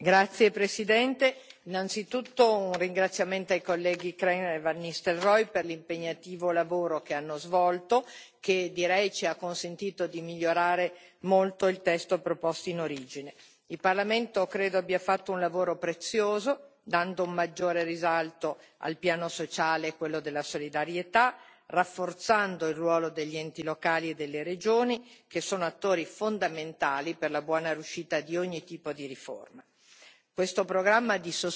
Signor Presidente, onorevoli colleghi, innanzitutto un ringraziamento ai colleghi Krehl e van Nistelrooij per l'impegnativo lavoro che hanno svolto che, direi, ci ha consentito di migliorare molto il testo proposto in origine. Credo che il Parlamento abbia fatto un lavoro prezioso, dando maggiore risalto al piano sociale e a quello della solidarietà, rafforzando il ruolo degli enti locali e delle regioni, che sono attori fondamentali per la buona riuscita di ogni tipo di riforma.